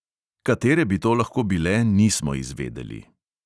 Katere bi to lahko bile, nismo izvedeli.